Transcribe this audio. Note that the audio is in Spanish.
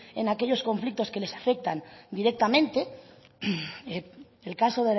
en aquellos conflictos que les afectan directamente el caso